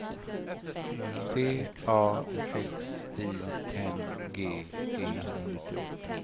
T A X I N G E